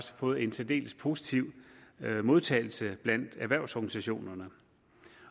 fået en særdeles positiv modtagelse blandt erhvervsorganisationerne